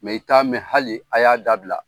i ta mɛn hali a y'a dabila.